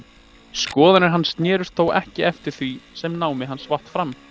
Skoðanir hans snerust þó eftir því sem námi hans vatt fram.